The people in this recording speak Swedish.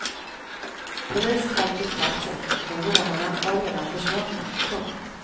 Polis kom till platsen men rånarna var redan försvunna. punkt